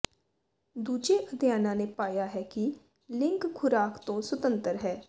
ਦੂਜੇ ਅਧਿਐਨਾਂ ਨੇ ਪਾਇਆ ਹੈ ਕਿ ਲਿੰਕ ਖੁਰਾਕ ਤੋਂ ਸੁਤੰਤਰ ਹੈ